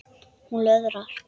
Hún löðrar.